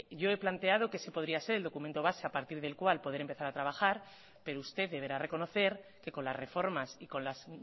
yo he planteado que ese podría el documento base a partir del cual poder empezar a trabajar pero usted deberá reconocer que con las reformas y con las